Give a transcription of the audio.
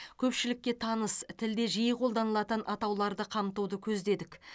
көпшілікке таныс тілде жиі қолданылатын атауларды қамтуды көздедік